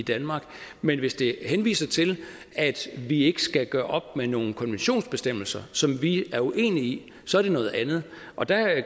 i danmark men hvis der henvises til at vi ikke skal gøre op med nogle konventionsbestemmelser som vi er uenige i så er det noget andet og der